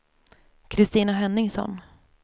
Kristina Henningsson